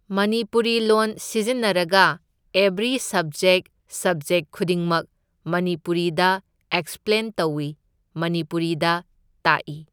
ꯃꯅꯤꯄꯨꯔꯤ ꯂꯣꯟ ꯁꯤꯖꯤꯟꯅꯔꯒ every subject subject ꯈꯨꯗꯤꯡꯃꯛ ꯃꯅꯤꯄꯨꯔꯤꯗ ꯑꯦꯛꯁꯄ꯭ꯂꯦꯟ ꯇꯧꯢ, ꯃꯅꯤꯄꯨꯔꯤꯗ ꯇꯥꯛꯢ꯫